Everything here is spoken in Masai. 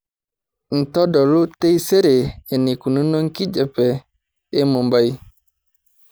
ntodolu taisere eneikununo enkijiape e mumbai